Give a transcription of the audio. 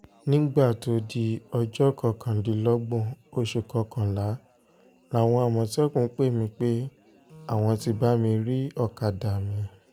nígbà tó di ọjọ́ kọkàndínlọ́gbọ̀n oṣù kọkànlá làwọn àmọ̀tẹ́kùn pè mí pé àwọn ti bá mi rí ọ̀kadà mi